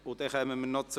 Wir kommen zu Ziel 5.